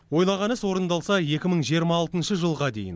ойлаған іс орындалса екі мың жиырма алтыншы жылға дейін